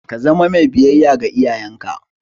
Ka zama mai biyayya ga iyayenka!